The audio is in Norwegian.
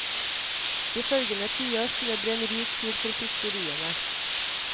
De følgende tiår skulle bli en rik tid for fiskeriene.